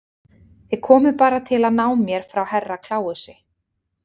Þið komuð bara til að ná mér frá Herra Kláusi.